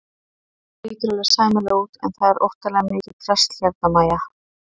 Þetta lítur alveg sæmilega út en það er óttalega mikið drasl hérna MÆJA!